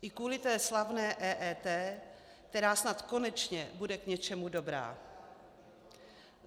I kvůli té slavné EET, která snad konečně bude k něčemu dobrá.